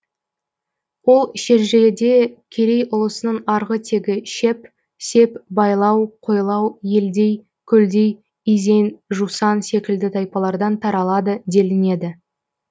ол шежіреде керей ұлысының арғы тегі шеп сеп байлау қойлау елдей көлдей изен жусан секілді тайпалардан таралады делінеді